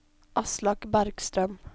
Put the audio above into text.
Aslak Bergstrøm